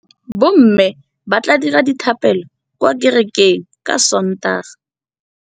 Bommê ba tla dira dithapêlô kwa kerekeng ka Sontaga.